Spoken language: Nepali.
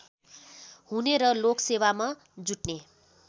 हुने र लोकसेवामा जुट्ने